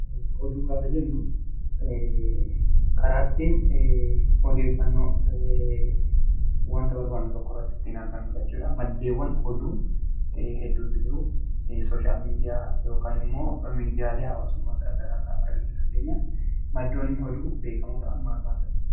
Oduu gaafa jennu, karaa ittiin odeeffannoo wanta barbaannu tokkorratti ittiin argannu jechuudha. Maddeewwan oduu hedduutu jira. Sooshal Miidiyaa yookaan immoo Miidiyaalee Haawaasummaa gara garaa irraa argachuu dandeenya. Maddoonni oduu beekamoo ta'an maal maal fa'i?